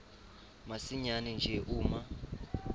masinyane nje uma